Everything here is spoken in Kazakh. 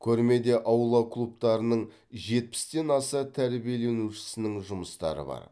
көрмеде аула клубтарының жетпістен аса тәрбиеленушісінің жұмыстары бар